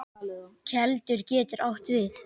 Keldur getur átt við